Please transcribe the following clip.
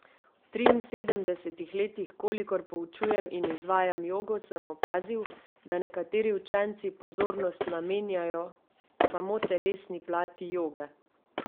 V triinsedemdesetih letih, kolikor poučujem in izvajam jogo, sem opazil, da nekateri učenci pozornost namenjajo samo telesni plati joge.